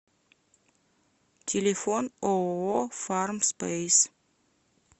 телефон ооо фармспейс